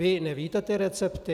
Vy nevíte ty recepty?